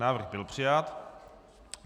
Návrh byl přijat.